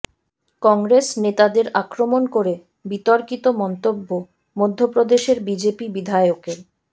কংগ্রেস নেতাদের আক্রমণ করে বিতর্কিত মন্তব্য মধ্যপ্রদেশের বিজেপি বিধায়কের